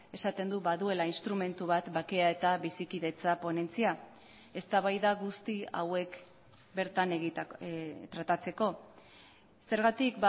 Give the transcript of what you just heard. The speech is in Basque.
esaten du baduela instrumentu bat bakea eta bizikidetza ponentzia eztabaida guzti hauek bertan tratatzeko zergatik